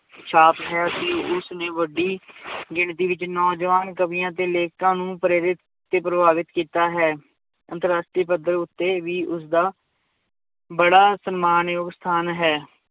ਛਾਪ ਹੈ ਕਿ ਉਸ ਨੇ ਵੱਡੀ ਗਿਣਤੀ ਵਿੱਚ ਨੌਜਵਾਨ ਕਵੀਆਂ ਤੇ ਲੇਖਕਾਂ ਨੂੰ ਪ੍ਰੇਰਿਤ ਤੇ ਪ੍ਰਭਾਵਿਤ ਕੀਤਾ ਹੈ, ਅੰਤਰ ਰਾਸ਼ਟਰੀ ਪੱਧਰ ਉੱਤੇ ਵੀ ਉਸਦਾ ਬੜਾ ਸਨਮਾਨ ਯੋਗ ਸਥਾਨ ਹੈ l